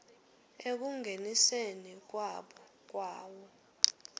ekungeniseni kwabo kwayo